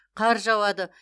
қар жауады